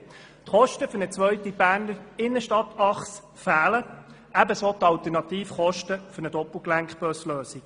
Die Kosten für eine zweite BernerInnenstadt-Achse fehlen, ebenso die Alternativkosten für eine Lösung mit Doppelgelenkbussen.